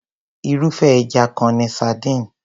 Irúfé ẹja kan ni sardines.